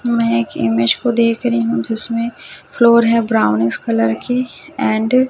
मैं एक इमेज को देख रही हूं जिसमें फ्लोर है ब्राउनिश कलर की एंड --